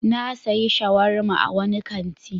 Na sayi shawarma a wani kanti.